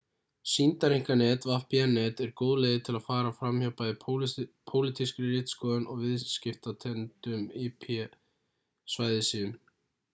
sýndareinkanet vpn-net eru góð leið til að fara fram hjá bæði pólitískri ritskoðun og viðskiptatengdum ip-svæðissíum